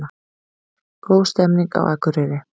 Góð stemning á Akureyri